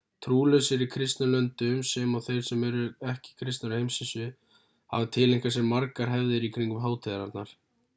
trúlausir í kristnum löndum sem og þeir sem ekki eru kristnir á heimsvísu hafa tileinkað sér margar hefðir í kringum hátíðarnar